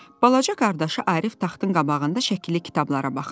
Balaca qardaşı Arif taxtın qabağında şəkilli kitablara baxırdı.